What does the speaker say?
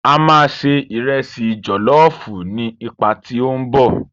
A máa ṣe ìresì jọ̀lọ́ọ̀fù ní ipá tí ó ń bọ̀.